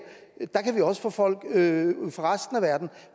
kan vi også få folk fra resten af verden